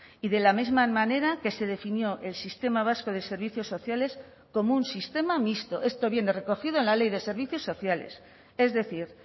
y de la misma manera que se definió el sistema vasco de servicios sociales como un sistema mixto esto viene recogido en la ley de servicios sociales es decir